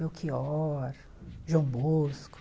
Belchior, João Bosco.